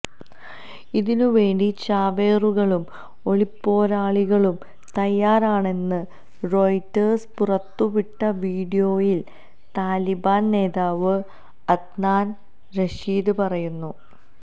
ഇതിനുവേണ്ടി ചാവേറുകളും ഒളിപ്പോരാളികളും തയാറാണെന്ന് റോയിട്ടേഴ്സ് പുറത്തുവിട്ട വീഡിയോയില് താലിബാന് നേതാവ് അദ്നാന് റഷീദ് പറയുന്നു